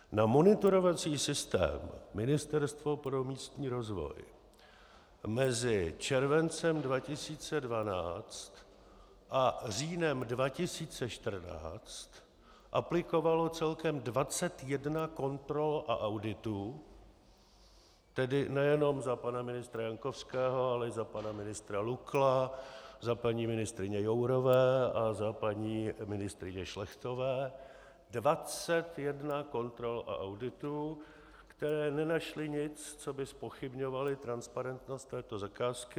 Na monitorovací systém Ministerstvo pro místní rozvoj mezi červencem 2012 a říjnem 2014 aplikovalo celkem 21 kontrol a auditů, tedy nejenom za pana ministra Jankovského, ale i za pana ministra Lukla, za paní ministryně Jourové a za paní ministryně Šlechtové, 21 kontrol a auditů, které nenašly nic, co by zpochybňovalo transparentnost této zakázky.